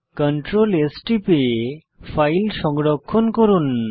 Ctrl S টিপে file সংরক্ষণ করুন